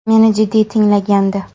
Meni jiddiy tinglagandi.